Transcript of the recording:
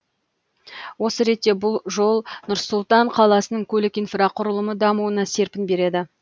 осы ретте бұл жол нұр сұлтан қаласының көлік инфрақұрылымы дамуына серпін береді